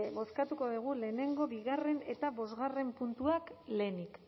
bozkatuko dugu bat bigarrena eta bost puntuak lehenik